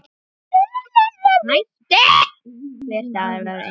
Hver dagur var engum líkur.